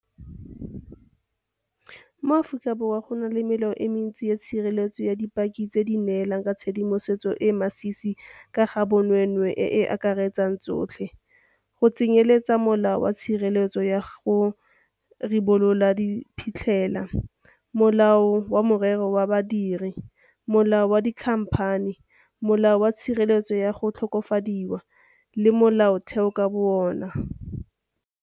Mo Aforika Borwa go na le melao e le mentsi ya tshireletso ya dipaki tse di neelang ka tshedimosetso e e masisi ka ga bonweenwee e e akaretsang tsotlhe, go tsenyeletsa Molao wa Tshireletso ya go Ribolola Diphitlhela, Molao wa Merero ya Badiri, Molao wa Dikhamphani, Molao wa Tshireletso ya go Tlhokofadiwa, le Molaotheo ka bo ona.